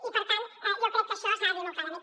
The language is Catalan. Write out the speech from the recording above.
i per tant jo crec que això s’ha de dir molt clarament